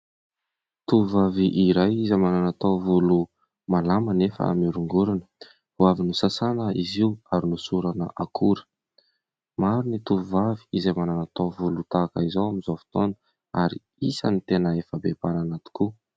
Tovovavy iray izay manana taovolo malama anefa mihorongorona ; vao avy nosasana izy io ary nohosorana akora. Maro ny tovovavy izay manana taovolo tahaka izao amin'izao fotoana ary isan'ny tena efa be mpanana tokoa.